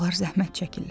Onlar zəhmət çəkirlər.